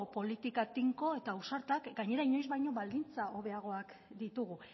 politika tinko eta ausartak gainera inoiz baino baldintza hobeagoak ditugu